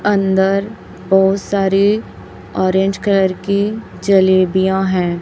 अंदर बहुत सारे ऑरेंज कलर की जलेबियां हैं।